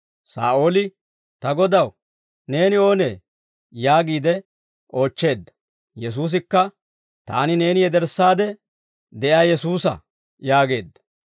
Saa'ooli, «Ta Godaw, neeni oonee?» yaagiide oochcheedda. Yesuusikka, «Taani neeni yederssaadde de'iyaa Yesuusa» yaageedda.